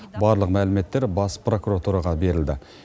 барлық мәліметтер бас прокуратураға берілді